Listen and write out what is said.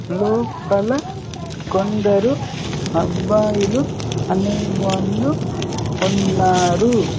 లోపల కొందరు అబ్బాయిలు అనేవాళ్ళు ఉన్నారు.